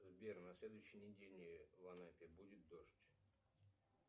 сбер на следующей неделе в анапе будет дождь